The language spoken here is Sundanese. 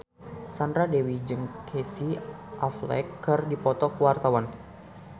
Sandra Dewi jeung Casey Affleck keur dipoto ku wartawan